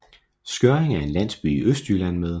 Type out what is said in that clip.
Skjørring er en landsby i Østjylland med